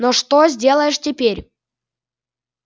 но что сделаешь теперь